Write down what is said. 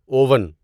oven